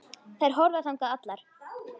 Þær horfðu þangað allar.